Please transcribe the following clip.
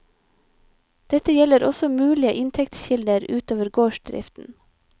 Dette gjelder også mulige inntektskilder ut over gårdsdriften.